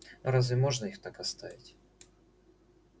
разве можно их так оставить